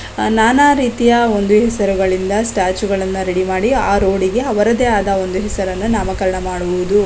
ನಾನಾ ರೀತಿಯ ಒಂದು ಹೆಸರು ಗಳಿಂದ ಸ್ಟ್ಯಾಚು ಗಳನು ರೆಡಿ ಮಾಡಿ ಆ ರೋಡ್ ಗೆ ಅವರಿದೆ ಆದಂಥ ಹೆಸರನ್ನು ನಾಮಕರಣ ಮಾಡುವುದು.